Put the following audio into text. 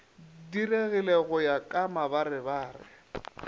diregile go ya ka mabarebare